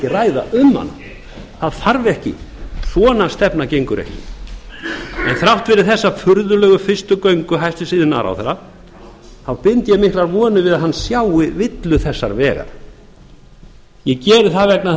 ræða um hana það þarf ekki svona stefna gengur ekki þrátt fyrir þessa furðulegu fyrstu göngu hæstvirtur iðnaðarráðherra þá bind ég miklar vonir við að hann sjái villur þessa vegar ég geri það vegna þess